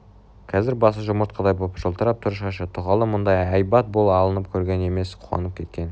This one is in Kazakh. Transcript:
қазір басы жұмыртқадай боп жылтырап тұр шашы туғалы мұндай әйбат боп алынып көрген емес қуанып кеткен